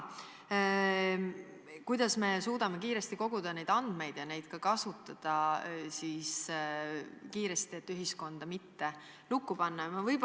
Kas me ikka suudame kiiresti andmeid koguda ja neid kiiresti kasutada, et ühiskonda mitte lukku panna?